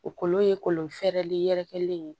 O kolon ye kolon fɛrɛlen yɛrɛkɛlen ye